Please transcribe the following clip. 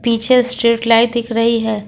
पीछे street light दिख रही है।